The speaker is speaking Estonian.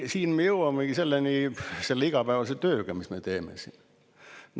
Siin me jõuamegi selle igapäevase tööni, mis me teeme siin.